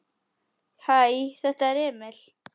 Hæ, þetta er Emil.